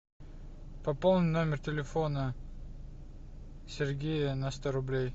пополни номер телефона сергея на сто рублей